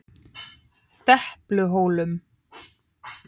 Depluhólum